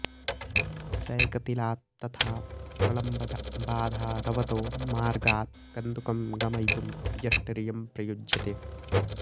सैकतिलात् तथा प्रलम्बाधारवतो मार्गात् कन्दुकं गमयितुं यष्टिरियं प्रयुज्यते